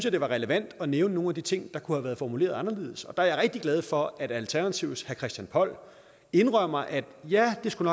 at det var relevant at nævne nogle af de ting der kunne have været formuleret anderledes og der er jeg rigtig glad for at alternativets herre christian poll indrømmer at ja det skulle